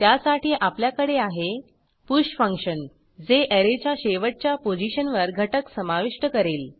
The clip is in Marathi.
त्यासाठी आपल्याकडे आहे पुष फंक्शन जे ऍरेच्या शेवटच्या पोझिशनवर घटक समाविष्ट करेल